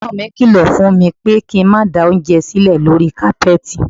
Ẹ̀gbọ́n mi kílọ̀ fún mi pé kí n má da oúnjẹ sílẹ̀ lórí kápẹ́ẹ̀tì.